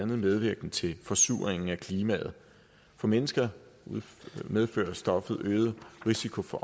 medvirkende til forsuringen af klimaet for mennesker medfører stoffet øget risiko for